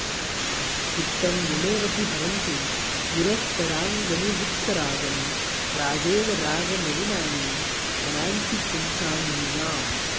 चित्तं मुनेरपि हरन्ति निरस्तरागंनिवृत्तरागम् प्रागेव रागमलिनानि मनांसि पुंसाम्यूनाम्